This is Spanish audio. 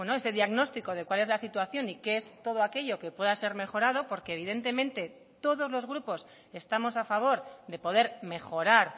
ese diagnóstico de cuál es la situación y qué es todo aquello que pueda ser mejorado porque evidentemente todos los grupos estamos a favor de poder mejorar